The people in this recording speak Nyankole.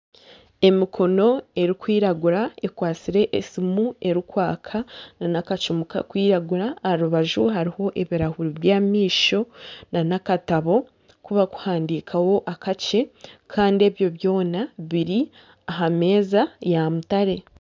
Emikono erikwiragura ekwatsire esimu erikwaka n'akacumu karikwiragura aha rubaju hariho ebirahuri by'amaisho n'akatabo kubakuhandikaho akakye kandi ebyo byona biri ahameeza yamutare.